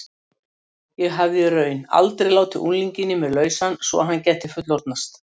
Ég hafði í raun aldrei látið unglinginn í mér lausan svo að hann gæti fullorðnast.